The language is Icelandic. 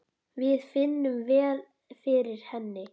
Við finnum vel fyrir henni.